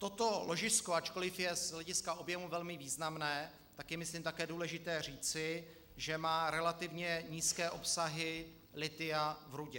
Toto ložisko, ačkoliv je z hlediska objemu velmi významné, tak je myslím také důležité říci, že má relativně nízké obsahy lithia v rudě.